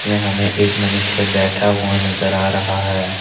मैं हमें एक मनुष्य बैठा हुआ नजर आ रहा है।